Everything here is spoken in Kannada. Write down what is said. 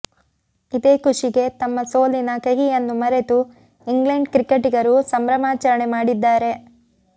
ಇದೇ ಖುಷಿಗೆ ತಮ್ಮ ಸೋಲಿನ ಕಹಿಯನ್ನೂ ಮರೆತು ಇಂಗ್ಲೆಂಡ್ ಕ್ರಿಕೆಟಿಗರು ಸಂಭ್ರಮಾಚರಣೆ ಮಾಡಿದ್ದಾರೆ